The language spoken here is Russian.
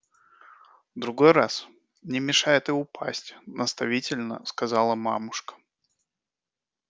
а другой раз не мешает и упасть наставительно сказала мамушка